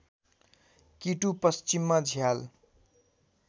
किटु पश्चिममा झ्याल